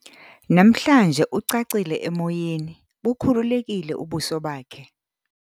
Mnamhlanje ucacile emoyeni, bukhululekile ubuso bakhe.